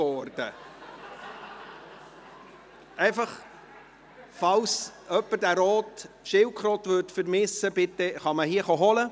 Falls jemand diese rote Schildkröte vermisst, dann kann man diese hier abholen.